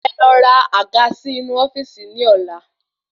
Ẹ lọ ra àga sì inú ofíìsì ni ola